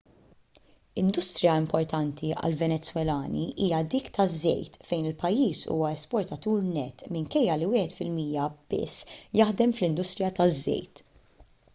industrija importanti għal-venezwelani hija dik taż-żejt fejn il-pajjiż huwa esportatur nett minkejja li wieħed fil-mija biss jaħdem fl-industrija taż-żejt